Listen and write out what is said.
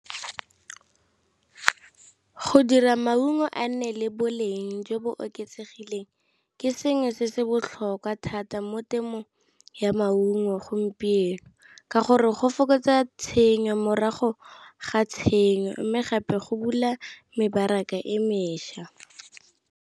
Go dira maungo a nne le boleng jo bo oketsegileng ke sengwe se se botlhokwa thata mo temong ya maungo gompieno, ka gore go fokotsa tshenyo morago ga tshenyo mme gape go bula mebaraka e mešwa.